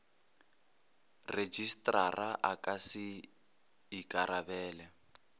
rejistrara a ka se ikarabele